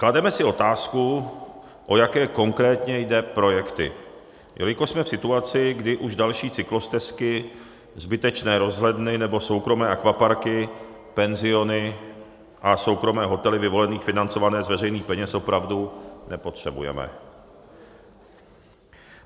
Klademe si otázku, o jaké konkrétně jde projekty, jelikož jsme v situaci, kdy už další cyklostezky, zbytečné rozhledny nebo soukromé akvaparky, penziony a soukromé hotely vyvolených financované z veřejných peněz opravdu nepotřebujeme.